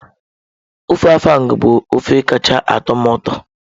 Ofe Afang bụ ofe kacha atọ m ụtọ.